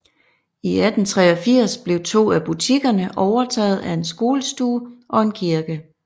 I 1883 blev to af butikkerne overtaget af en skolestue og en kirke